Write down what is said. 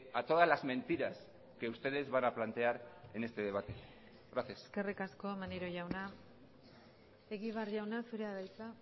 a todas las mentiras que ustedes van a plantear en este debate gracias eskerrik asko maneiro jauna egibar jauna zurea da hitza